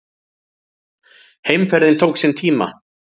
Heimferðin tók sinn tíma.